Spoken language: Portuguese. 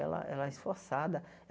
Ela ela é esforçada.